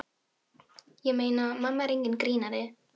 Ég meina, mamma er enginn grínari.